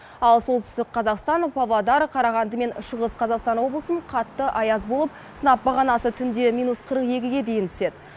ал солтүстік қазақстан павлодар қарағанды мен шығыс қазақстан облысын қатты аяз болып сынап бағанасы түнде минус қырық екіге дейін түседі